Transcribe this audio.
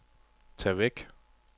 tag væk